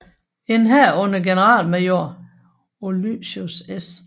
En hær under generalmajor Ulysses S